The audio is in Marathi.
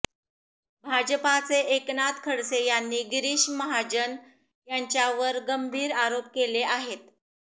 भाजपाचे एकनाथ खडसे यांनी गिरीश महाजन यांच्यावर गंभीर आरोप केले आहेत